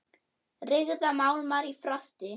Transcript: Ryðga málmar í frosti?